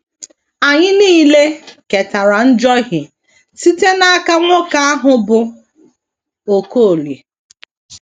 Anyị nile ketara njohie site n’aka nwoke mbụ ahụ, bụ́ Okolie.